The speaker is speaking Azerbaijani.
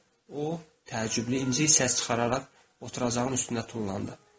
O təəccüblü incə səs çıxararaq oturacağın üstünə tullandı.